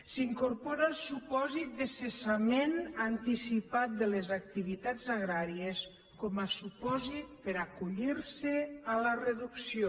s’hi incorpora el supòsit de cessament anticipat de les activitats agràries com a supòsit per a acollir se a la reducció